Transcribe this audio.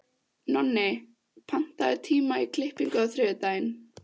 Nonni, pantaðu tíma í klippingu á þriðjudaginn.